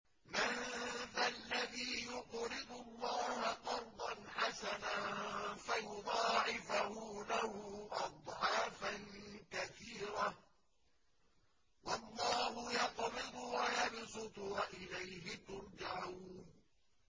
مَّن ذَا الَّذِي يُقْرِضُ اللَّهَ قَرْضًا حَسَنًا فَيُضَاعِفَهُ لَهُ أَضْعَافًا كَثِيرَةً ۚ وَاللَّهُ يَقْبِضُ وَيَبْسُطُ وَإِلَيْهِ تُرْجَعُونَ